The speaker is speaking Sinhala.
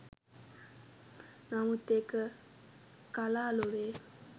නමුත් ඒක කලා ලොවේ